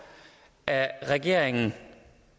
at regeringen